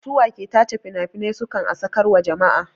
Su wa ke tace finafinan su kan a sakar wa jama'a?